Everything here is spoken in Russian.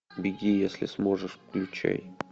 беги если сможешь включай